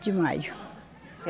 de maio.